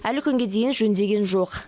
әлі күнге дейін жөндеген жоқ